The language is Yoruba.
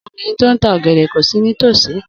Obìnrin ti o n ta ọgẹdẹ ko si nítòsí.